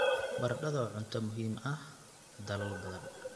Baradhada waa cunto muhiim ah dalal badan.